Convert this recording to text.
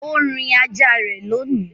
O rìn ajá rẹ lóni.